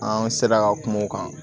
An sera ka kuma u kan